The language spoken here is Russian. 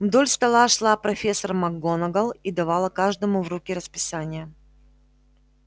вдоль стола шла профессор макгонагалл и давала каждому в руки расписание